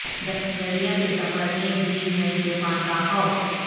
دریا کے سفر میں بھی ہے طوفان کا خوف